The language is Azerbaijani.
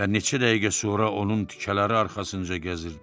Və neçə dəqiqə sonra onun tikələri arxasınca gəzirdi.